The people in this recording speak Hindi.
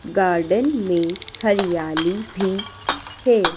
गार्डन में हरियाली भी है।